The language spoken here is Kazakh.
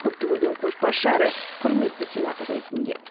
көпті көрген көшбасшы әрі құрметті сенатор ретінде